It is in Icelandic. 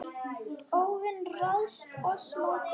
óvin ræðst oss móti.